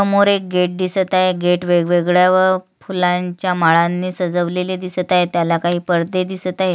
समोर एक गेट दिसत आहे गेट वेगवेगळ्या फुलांच्या माळांनी सजवलेले दिसत आहे त्याला काही पडदे दिसत आहेत.